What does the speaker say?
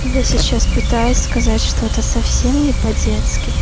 я сейчас пытаюсь сказать что-то совсем не по детски